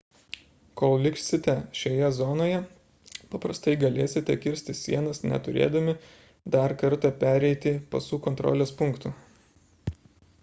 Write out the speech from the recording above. kol liksite šioje zonoje paprastai galėsite kirsti sienas neturėdami dar kartą pereiti pasų kontrolės punktų